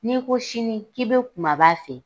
N'i ko sini k'i be kumaba fɛ